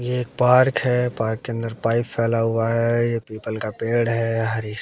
ये एक पार्क है पार्क के अंदर पाइप फैला हुआ है ये पीपल का पेड़ है हरीश--